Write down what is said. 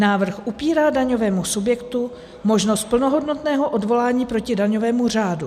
Návrh upírá daňovému subjektu možnost plnohodnotného odvolání proti daňovému řádu.